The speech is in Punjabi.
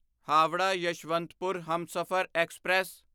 ਹਾਵਰਾ ਯਸ਼ਵੰਤਪੁਰ ਹਮਸਫ਼ਰ ਐਕਸਪ੍ਰੈਸ